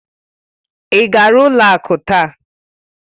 Ị gara ụlọ akụ taa?